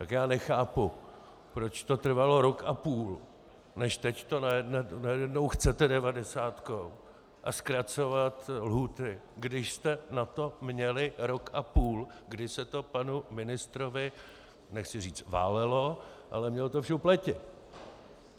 Tak já nechápu, proč to trvalo rok a půl, než teď to najednou chcete devadesátkou a zkracovat lhůty, když jste na to měli rok a půl, kdy se to panu ministrovi - nechci říct válelo, ale měl to v šupleti.